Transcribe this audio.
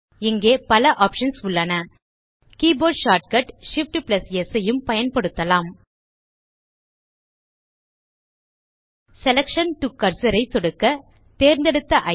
இங்கே பல ஆப்ஷன்ஸ் உள்ளன கீபோர்ட் ஷார்ட்கட் Shift ஆம்ப் ஸ் ஐயும் பயன்படுத்தலாம் செலக்ஷன் டோ கர்சர் ஐ சொடுக்க தேர்ந்தெடுத்த ஐட்டம்